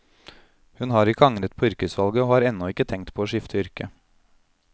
Hun har ikke angret på yrkesvalget, og har ennå ikke tenkt på å skifte yrke.